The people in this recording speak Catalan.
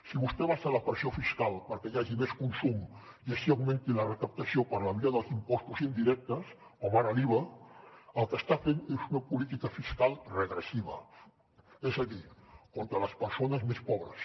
si vostè abaixa la pressió fiscal perquè hi hagi més consum i així augmenti la recaptació per la via dels impostos indirectes com ara l’iva el que està fent és una política fiscal regressiva és a dir contra les persones més pobres